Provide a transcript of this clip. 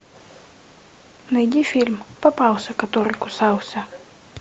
найди фильм попался который кусался